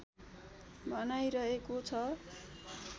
भनाइ रहेको छ